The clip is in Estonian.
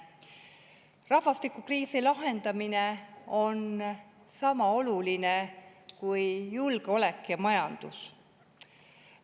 Rahvastikukriisi lahendamine on sama oluline kui julgeolek ja majandus.